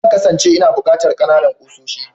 Zan kasance ina buƙatar kanana ƙusoshi.